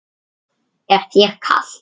Er þér kalt?